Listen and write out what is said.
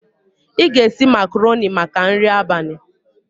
Ị ga-esi macarọnị maka nri abalị.